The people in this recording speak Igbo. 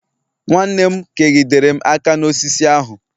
nwanne nne m kegidere m aka n'osisi ahu